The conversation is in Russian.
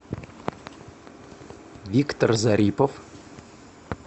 виктор зарипов